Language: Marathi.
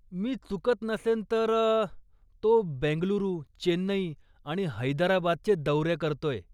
मी चुकत नसेन तर, तो बेंगलुरू, चेन्नई आणि हैदराबादचे दौरे करतोय.